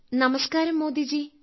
നമസ്കാരം മോദിജീ